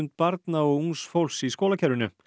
barna og ungs fólks í skólakerfinu